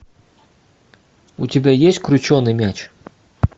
у тебя есть крученый мяч